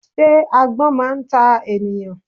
Sé agbón máa n ta ènìyàn